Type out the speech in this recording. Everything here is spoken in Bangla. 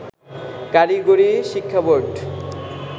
কারিগরি শিক্ষা বোর্ড